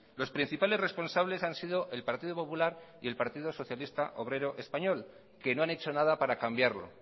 los principales responsables han sido el partido popular y el partido socialista obrero español que no han hecho nada para cambiarlo